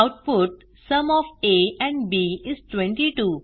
output sum of a and b is 22